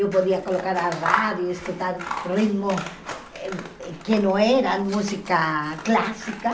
Eu podia colocar a rádio e escutar ritmo que não era música clássica.